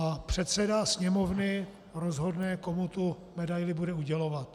A předseda Sněmovny rozhodne, komu tu medaili bude udělovat.